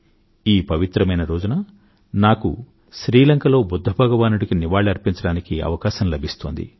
ఈ పవిత్రమైన రోజున నాకు శ్రీ లంకలో బుధ్ద భగవానుడికి నివాళి అర్పించటానికి అవకాశం లభిస్తోంది